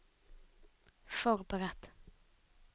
forberedt